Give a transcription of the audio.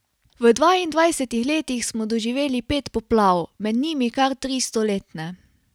V dvaindvajsetih letih smo doživeli pet poplav, med njimi kar tri stoletne.